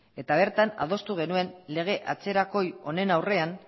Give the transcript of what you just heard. eta bertan adostu genuen lege atzerakoi honen aurrean